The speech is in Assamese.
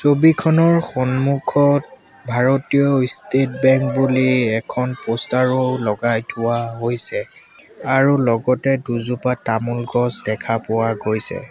ছবিখনৰ সন্মুখত ভাৰতীয় ষ্টেট বেংক বুলি এখন প'ষ্টাৰ ও লগাই থোৱা হৈছে আৰু লগতে দুজোপা তামোল গছ দেখা পোৱা গৈছে।